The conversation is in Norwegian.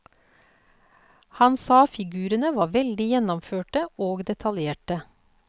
Han sa figurene var veldig gjennomførte og detaljerte.